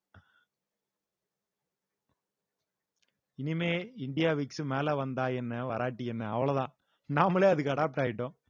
இனிமே India vicks மேல வந்தா என்ன வறாட்டி என்ன அவ்வளோதான் நாமளே அதுக்கு adapt ஆயிட்டோம்